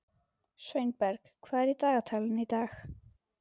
Sveinberg, hvað er í dagatalinu í dag?